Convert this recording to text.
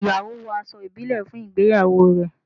Ìyàwó wo aṣọ ibile fún ìgbéyàwó rẹ